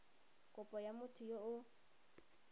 kopo ya motho yo o